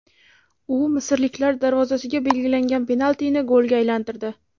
U misrliklar darvozasiga belgilagan penaltini golga aylantirdi.